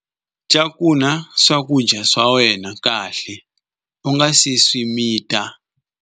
Cakunya swakudya swa wena kahle u nga si swi mita.